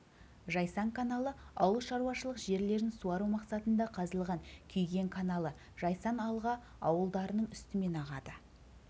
жайсан каналы ауыл шаруашылық жерлерін суару мақсатында қазылған күйген каналы жайсан алға ауылдарының үстімен ағады ұзындығы